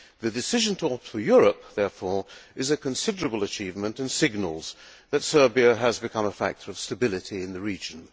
The decision to opt for Europe, therefore, is a considerable achievement and signals that Serbia has become a factor of stability in the region.